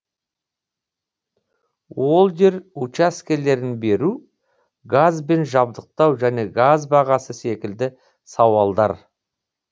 ол жер учаскелерін беру газбен жабдықтау және газ бағасы секілді сауалдар